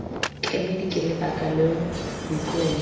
kemedi ke lebaka leo boikuelo